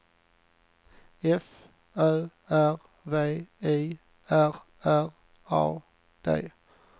F Ö R V I R R A D